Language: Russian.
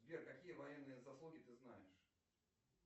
сбер какие военные заслуги ты знаешь